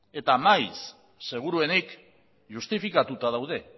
eta maiz seguruenik justifikatuta daude